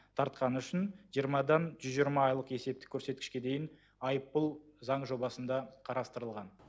тартқаны үшін жиырмадан жүз жиырма айлық есептік көрсеткішке дейін айыппұл заң жобасында қарастырылған